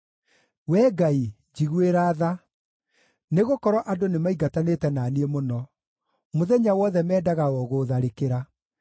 Wee Ngai, njiguĩra tha, nĩgũkorwo andũ nĩmaingatanĩte na niĩ mũno; mũthenya wothe mendaga o gũũtharĩkĩra.